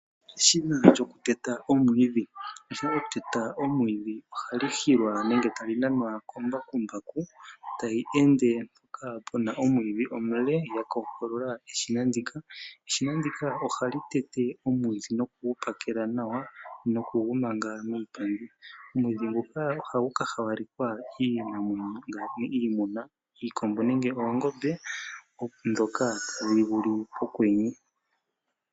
Eshina lyokuteta omwiidhi. Eshina lyokutetwa omwiidhi ohali hilwa nenge tali nanwa kombakumbaku tayi ende mpoka puna omwiidhi omule ya kookolola eshina ndika. Eshina ndika ohali tete omwiidhi nokugupakela nawa noku gumanga muupandi. Omwiidhi nguka ohagu ka hawalekwa iinamwenyo ngaashi iimuna iikombo nenge oongombe ndhoka itaadhi vulu okwenye.